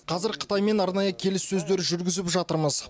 қазір қытаймен арнайы келіссөздер жүргізіп жатырмыз